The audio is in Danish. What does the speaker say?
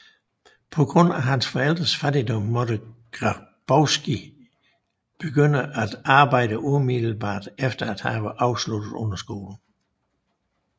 På grund af hans forældres fattigdom måtte Grabowski begynde at arbejde umiddelbart efter at have afsluttet underskolen